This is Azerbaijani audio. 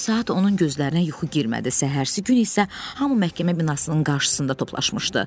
Bir neçə saat onun gözlərinə yuxu girmədi, səhərsi gün isə hamı məhkəmə binasının qarşısında toplaşmışdı.